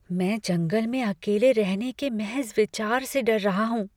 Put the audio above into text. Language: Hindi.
मैं जंगल में अकेले रहने के महज विचार से डर रहा हूँ।